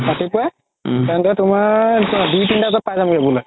ৰাতিপুৱাই তেন্তে তুমাৰ দুই তিনতা বাজাত পাই যামগে বুলে